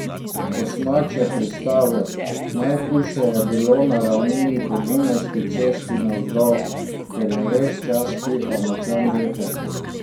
Kosmač je pristavil: "Najhujše je bilo na ravnini po Dunajski cesti navzdol, ker je ves čas pihal močan veter.